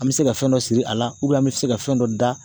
An bɛ se ka fɛn dɔ siri a la an bɛ se ka fɛn dɔ da